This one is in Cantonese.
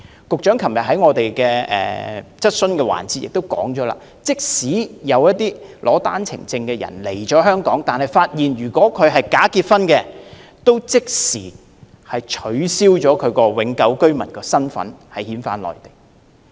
局長昨天在質詢環節中指出，如果發現有持單程證來港的人士涉及假結婚，便會即時取消其永久居民的身份並遣返內地。